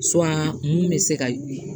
mun bɛ se ka